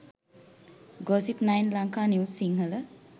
gossip9 lanka news sinhala